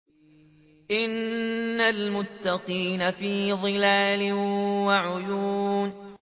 إِنَّ الْمُتَّقِينَ فِي ظِلَالٍ وَعُيُونٍ